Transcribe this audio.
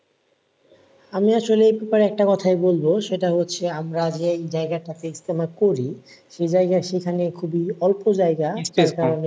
আমি আসলে তোমার একটা কথাই বলবো সেটা হচ্ছে, আমরা যেই জায়গাটাতে ইজতেমা করি সেই যায়গা সেখানে খুবই অল্প যায়গা।